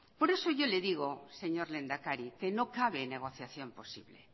por eso yo le digo señor lehendakari que no cabe negociación posible